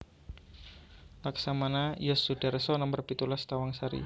Laksamana Yos Sudarso nomer pitulas Tawangsari